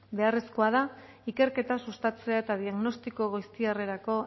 beharrezkoa da ikerketa sustatzea eta diagnostiko goiztiarrerako